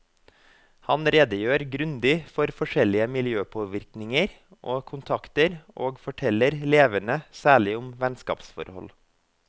Han redegjør grundig for forskjellige miljøpåvirkninger og kontakter, og forteller levende særlig om vennskapsforhold.